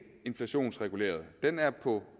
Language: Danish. inflationsreguleret den er på